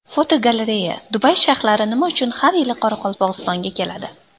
Fotogalereya: Dubay shayxlari nima uchun har yili Qoraqalpog‘istonga keladi?.